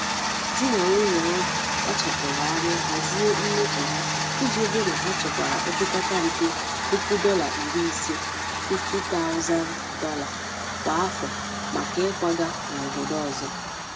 Di na nwunye ahụ kpáchapụrụ anya hazie mmefu ha iji hụ na ha chekwara opekata mpe, puku dolar iri ise ($50, 000) kwa afọ maka ikwaga n'obodo ọzọ.